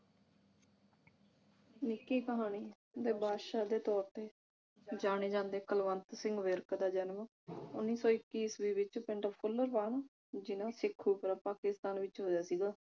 ਨਿੱਕੀ ਕਹਾਣੀ ਦੇ ਬਾਦਸ਼ਾਹ ਦੇ ਤੋਰ ਤੇ ਜਾਣੇ ਜਾਂਦੇ ਕੁਲਵੰਤ ਸਿੰਘ ਵਿਰਕ ਦਾ ਜਨਮ ਉੱਨੀ ਸੋ ਇੱਕੀ ਈਸਵੀ ਵਿਚ ਪਿੰਡ ਫੁਲਰਵਨ ਜਿੱਲ੍ਹਾ ਸ਼ੇਖੂਪੁਰਾ ਪਾਕਿਸਤਾਨ ਵਿਚ ਹੋਇਆ ਸੀਗਾ